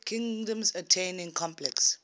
kingdoms attaining complex